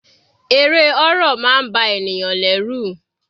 Eré horror máa ń ba ènìyàn lẹ́rù.